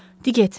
"Di get.